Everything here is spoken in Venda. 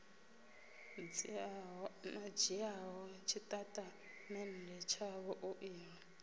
dzhiaho tshitatamennde tshavho u ḓo